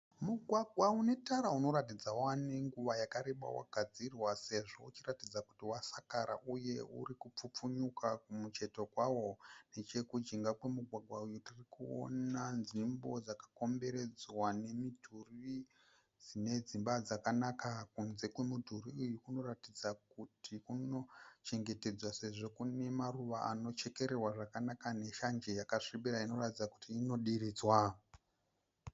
Mugwagwa unetara unoratidza kuti wave nenguva yakareba wagadzirwa sezvo uchiratidza kuti wasakara uye uri kuchipfupfunyuka kumucheto kwawo. Nechekujinga kwemugwagwa uyu tirikuona nzvimbo dzakakomberedzwa nemidhuri dzine dzimba dzakanaka. Kunze kwemuduri uyu kuratidza kuti kuno chengetedzwa sezvo kune maruva anochekererwa zvakanaka neshanje yakasvibira inoratidza kuti inodiridzwa.